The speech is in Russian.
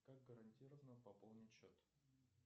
как гарантировано пополнить счет